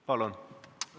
Palun!